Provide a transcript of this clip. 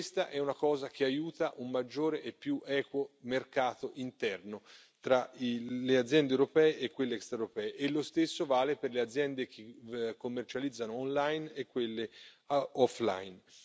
Questa è una cosa che aiuta un maggiore e più equo mercato interno tra le aziende europee e quelle extraeuropee e lo stesso vale per le aziende che commercializzano online e quelle offline.